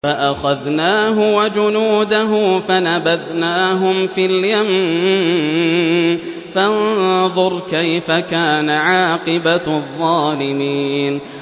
فَأَخَذْنَاهُ وَجُنُودَهُ فَنَبَذْنَاهُمْ فِي الْيَمِّ ۖ فَانظُرْ كَيْفَ كَانَ عَاقِبَةُ الظَّالِمِينَ